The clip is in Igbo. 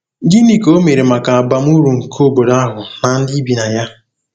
Gịnị ka o mere maka abamuru nke obodo ahụ na ndị bi na ya?